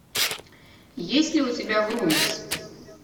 есть ли у тебя врумиз